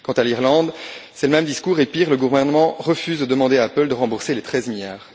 Quant à l'Irlande, c'est le même discours, et pire, le gouvernement refuse de demander à Apple de rembourser les 13 milliards.